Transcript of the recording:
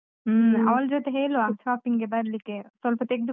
ಹ್ಮ್, ಅವ್ಳ ಜೊತೆ ಹೇಳುವ shopping ಗೆ ಬರ್ಲಿಕ್ಕೆ, ಸ್ವಲ್ಪ ತೆಗ್ದು.